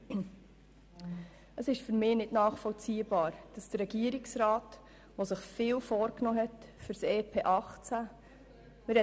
Für mich ist es nicht nachvollziehbar, dass der Regierungsrat, der sich doch für das EP 2018 so viel vorgenommen hat, genau hier lineare Kürzungen vorschlägt.